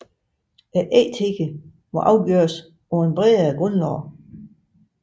Ægthed må afgøres på et bredere grundlag